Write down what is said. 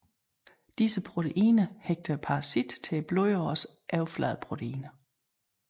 Disse proteiner hægter parasitten til blodårenes overfladeproteiner